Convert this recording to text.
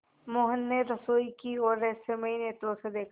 मोहन ने रसोई की ओर रहस्यमय नेत्रों से देखा